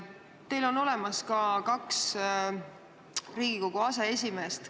Teil on olemas ka kaks Riigikogu aseesimeest.